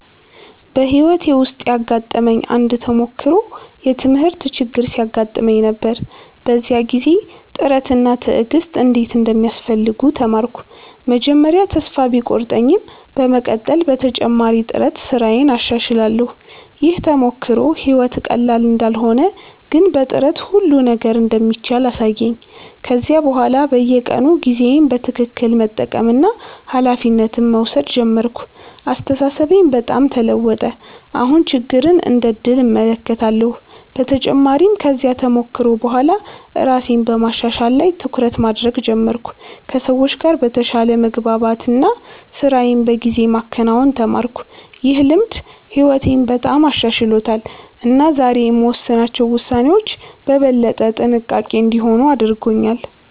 በሕይወቴ ውስጥ ያጋጠመኝ አንድ ተሞክሮ የትምህርት ችግር ሲያጋጥመኝ ነበር። በዚያ ጊዜ ጥረት እና ትዕግሥት እንዴት እንደሚያስፈልጉ ተማርኩ። መጀመሪያ ተስፋ ቢቆርጠኝም በመቀጠል በተጨማሪ ጥረት ስራዬን አሻሽላለሁ። ይህ ተሞክሮ ሕይወት ቀላል እንዳልሆነ ግን በጥረት ሁሉ ነገር እንደሚቻል አሳየኝ። ከዚያ በኋላ በየቀኑ ጊዜዬን በትክክል መጠቀምና ኃላፊነት መውሰድ ጀመርኩ። አስተሳሰቤም በጣም ተለወጠ፤ አሁን ችግርን እንደ ዕድል እመለከታለሁ። በተጨማሪም ከዚያ ተሞክሮ በኋላ ራሴን በማሻሻል ላይ ትኩረት ማድረግ ጀመርኩ፣ ከሰዎች ጋር በተሻለ መግባባት እና ስራዬን በጊዜ ማከናወን ተማርኩ። ይህ ልምድ ሕይወቴን በጣም አሻሽሎታል እና ዛሬ የምወስናቸው ውሳኔዎች በበለጠ ጥንቃቄ እንዲሆኑ አድርጎኛል።